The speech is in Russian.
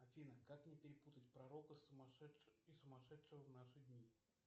афина как не перепутать пророка и сумасшедшего в наши дни